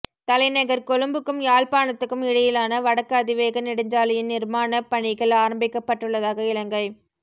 தலைநகர் கொழும்புக்கும் யாழ்ப்பாணத்துக்கும் இடையிலான வடக்கு அதிவேக நெடுஞ்சாலையின் நிர்மாணப் பணிகள் ஆரம்பிக்கப்பட்டுள்ளதாக இலங்கை